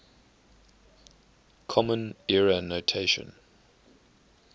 common era notation